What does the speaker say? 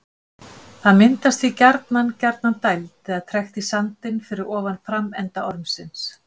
Það myndast því gjarnan gjarnan dæld eða trekt í sandinn fyrir ofan framenda ormsins.